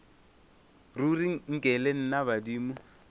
ruri nke le nna badimo